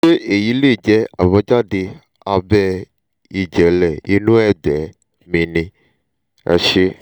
ṣé èyí lè jẹ́ àbájáde abẹ́ ìjẹ́lẹ̀ inú ẹ̀gbẹ́ mi ni? ẹ se